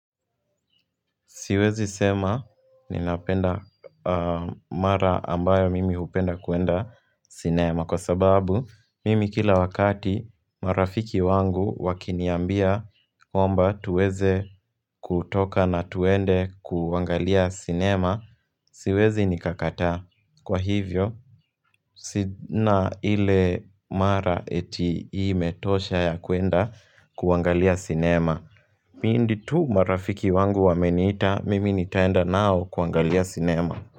Siwezi sema ninapenda mara ambayo mimi hupenda kuenda sinema. Kwa sababu, mimi kila wakati marafiki wangu wakiniambia kwamba tuweze kutoka na twende kuangalia sinema, siwezi nikakataa. Kwa hivyo, sina ile mara eti imetosha ya kwenda kuangalia sinema. Pindi tu marafiki wangu wameniita, mimi ni taenda nao kuangalia sinema.